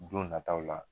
Don nataw la